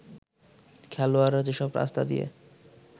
খেলোয়াড়রা যেসব রাস্তা দিয়ে